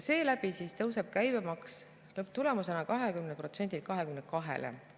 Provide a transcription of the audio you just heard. Seeläbi tõuseb käibemaks lõpptulemusena 20%-lt 22%-le.